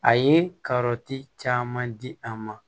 A ye kɔrɔti caman di a ma